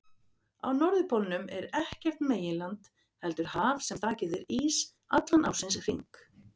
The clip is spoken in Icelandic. Á norðurpólnum er ekkert meginland heldur haf sem þakið er ís allan ársins hring.